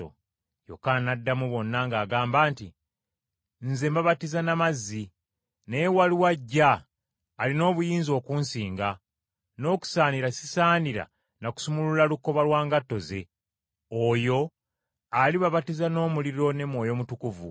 Yokaana n’addamu bonna ng’agamba nti, “Nze mbabatiza na mazzi, naye waliwo ajja, alina obuyinza okunsinga, n’okusaanira sisaanira na kusumulula lukoba lwa ngatto ze. Oyo alibabatiza n’omuliro ne Mwoyo Mutukuvu;